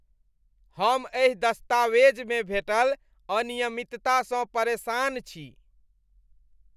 हम एहि दस्तावेजमे भेटल अनियमिततासँ परेशान छी।